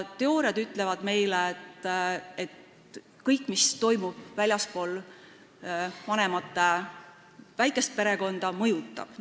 Teooriad ütlevad meile, et kõik, mis toimub väljaspool n-ö väikest perekonda, mõjutab seda.